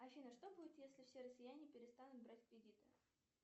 афина что будет если все россияне перестанут брать кредиты